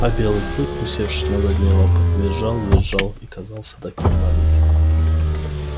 а белый клык усевшись на задние лапы визжал визжал и казался таким маленьким